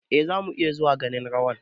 eh, zamu iya zuwa ganin rawan